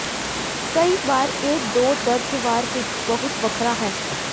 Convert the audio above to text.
ਕਈ ਵਾਰ ਇਹ ਦੋ ਦਰਜ ਵਾਰ ਵਿੱਚ ਬਹੁਤ ਵੱਖਰਾ ਹੈ